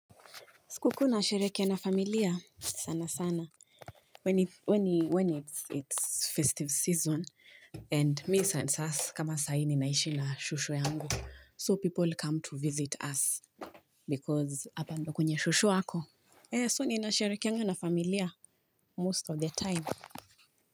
Sikukuu nasherehekea na familia sana sana. When it's festive season and me and us kama saa hii ninaishi na shushu yangu so people come to visit us. Because hapa ndo kunye shushu ako. Eh so nina sherehekeanga na familia most of the time.